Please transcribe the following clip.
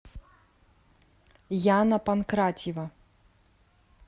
яна панкратьева